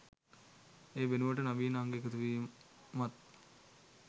ඒ වෙනුවට නවීන අංග එකතුවීමත්